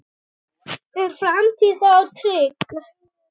Er framtíð þá trygg?